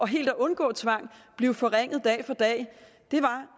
helt at undgå tvang blive forringet dag for dag var